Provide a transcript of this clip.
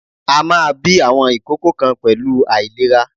A máa bí àwọn ìkókó kan pẹ̀lú àìlera.